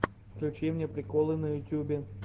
включи мне приколы на ютьюбе